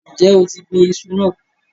Ǹjẹ́ o ti gbin iṣu náà?